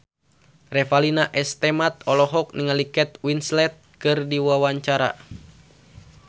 Revalina S. Temat olohok ningali Kate Winslet keur diwawancara